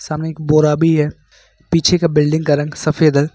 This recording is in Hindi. सामने एक बोरा भी है पीछे के बिल्डिंग का रंग सफेद है।